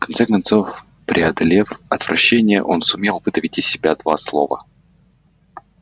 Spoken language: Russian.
в конце концов преодолев отвращение он сумел выдавить из себя два слова